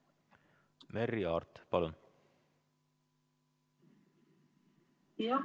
Merry Aart, palun!